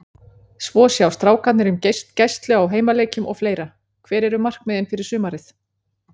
Svo sjá strákarnir um gæslu á heimaleikjum og fleira Hver eru markmiðin fyrir sumarið?